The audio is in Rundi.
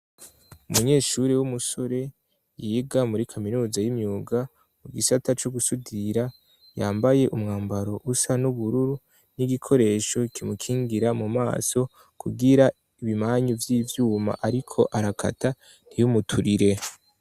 Umunyeshuri w'umusore, yiga muri kaminuza y'imyuga mu gisata co gusudira, yambaye umwambaro usa n'ubururu n'igikoresho kimukingira mu maso kugira ibimanyu vy'ivyuma ariko arakata ntiyumuturire.